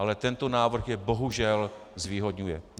Ale tento návrh je bohužel zvýhodňuje.